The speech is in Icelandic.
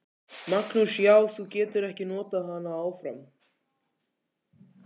Magnús: Já, þú getur ekki notað hana áfram?